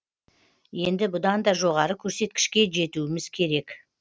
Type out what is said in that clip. енді бұдан да жоғары көрсеткішке жетуіміз керек